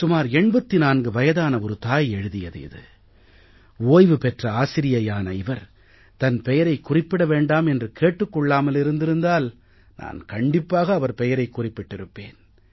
சுமார் 84 வயதான ஒரு தாய் எழுதியது இது ஓய்வு பெற்ற ஆசிரியையான இவர் தன் பெயரைக் குறிப்பிட வேண்டாம் என்று கேட்டுக் கொள்ளாமல் இருந்திருந்தால் நான் கண்டிப்பாக அவர் பெயரைக் குறிப்பிட்டிருப்பேன்